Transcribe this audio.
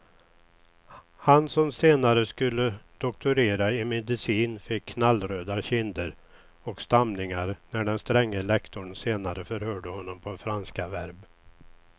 Han som senare skulle doktorera i medicin fick knallröda kinder och stamningar när den stränge lektorn senare förhörde honom på franska verb.